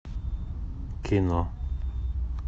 кино